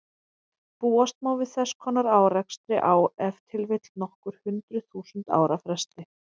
Búast má við þess konar árekstri á ef til vill nokkur hundruð þúsund ára fresti.